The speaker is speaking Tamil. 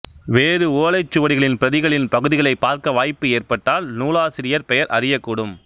வேறு ஓலைச்சுவடிகளின் பிரதிகளின் பகுதிகளைப் பார்க்க வாய்ப்பு ஏற்பட்டால் நூலாசிரியர் பெயர் அறியக்கூடும்